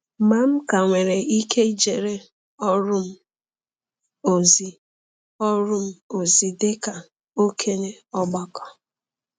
Ma m ka nwere ike ijere ọrụ m ozi ọrụ m ozi dị ka okenye ọgbakọ.